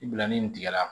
I bila ni nin tigɛla